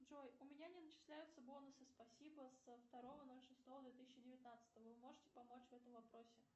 джой у меня не начисляются бонусы спасибо со второго ноль шестого две тысячи девятнадцатого вы можете помочь в этом вопросе